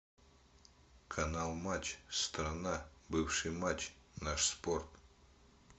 канал матч страна бывший матч наш спорт